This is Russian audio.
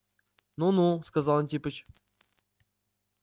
ну ну сказал антипыч